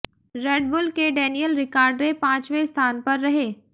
red Bull के Daniel Ricciardo पांचवें स्थान पर रहे